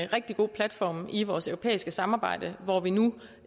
rigtig god platform i vores europæiske samarbejde hvor vi nu